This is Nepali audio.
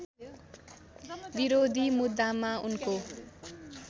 विरोधी मुद्दामा उनको